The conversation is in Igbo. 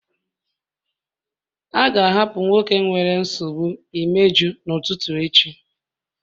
A ga-ahapụ nwoke nwere nsogbu imeju n'ụtụtụ echi